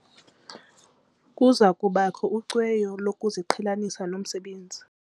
Kuza kubakho ucweyo lokuziqhelanisa nomsebenzi.